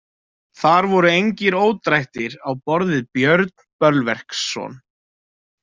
Þar voru engir ódrættir á borð við Björn Bölverksson.